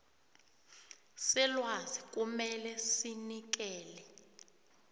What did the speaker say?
selwazi kumele sinikele